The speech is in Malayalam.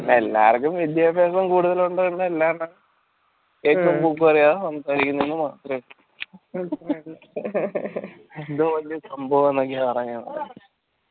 എല്ലാർക്കും വിദ്യാഭ്യാസും കൂട്തലുണ്ട് സംസാരിക്കുന്നു എന്ന് മാത്രള്ളൂ എന്തോ വലിയ സംഭവം എന്ന് ഇങ്ങനെ പറഞ്ഞ നടക്കാ